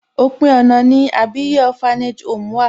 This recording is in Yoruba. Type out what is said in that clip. Òpin ọ̀nà ni Àbíyè Orphanage home wà.